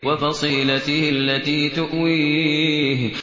وَفَصِيلَتِهِ الَّتِي تُؤْوِيهِ